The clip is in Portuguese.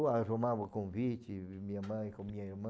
Ou arrumava um convite, minha mãe com minha irmã.